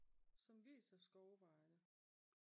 Som viser skovvejene